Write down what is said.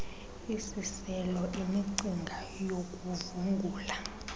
isiselo imicinga yokuvungula